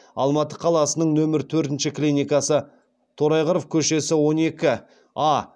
алматы қаласының нөмірі төртінші клиникасы торайғыров көнесі он екі а